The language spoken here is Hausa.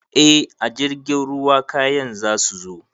Eh a jirgin ruwa kayan zasu zo